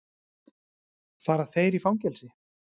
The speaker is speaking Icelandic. Fara þeir í fangelsi?